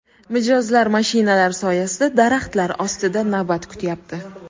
Mijozlar mashinalar soyasida, daraxtlar ostida navbat kutyapti.